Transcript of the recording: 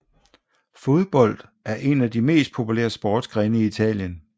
Fodbold er en af de mest populære sportsgrene i Italien